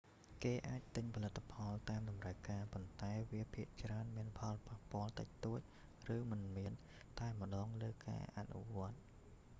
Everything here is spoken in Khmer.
គេអាចទិញផលិតផលតាមតម្រូវការ ប៉ុន្តែវាភាគច្រើនមានផលប៉ះពាល់តិចតួចឬមិនមានតែម្តងលើការអនុវត្ត